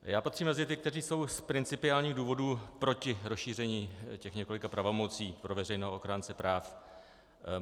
Já patřím mezi ty, kteří jsou z principiálních důvodů proti rozšíření těch několika pravomocí pro veřejného ochránce práv.